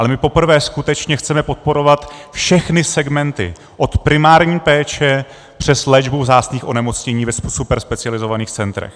Ale my poprvé skutečně chceme podporovat všechny segmenty, od primární péče přes léčbu vzácných onemocnění v superspecializovaných centrech.